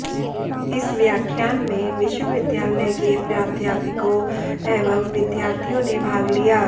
इस व्याख्यान में विश्वविद्यालय के प्राध्यापकों एवं विद्यार्थियों ने भाग लिया